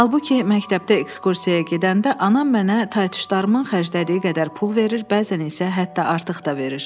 Halbuki məktəbdə ekskursiyaya gedəndə anam mənə taytuşlarımın xərclədiyi qədər pul verir, bəzən isə hətta artıq da verir.